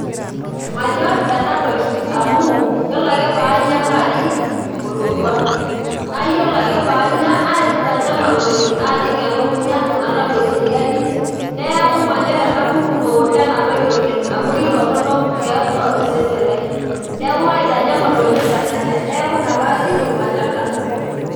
Manyor enatoki amu, yiolo ake paanya naajing' olodua. Nayiolo ake paanya, naitanyamal oleng. Naajing' elukunya, nalau eseriani, neeku manyor ena pukunoto enatoki oleng. Amu kitorrono tiatua osesen lai. Neeku kaitanyamal oleng tenanya. Neeku ina pajito, manyor nanu pi.